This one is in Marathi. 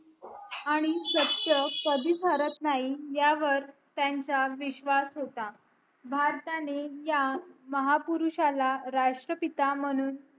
आणि सत्य कधीच हरत नाही ह्यावर त्यांचा विश्वास होता भारताने ह्या महापुरुषाला राष्ट्र पिता म्हणून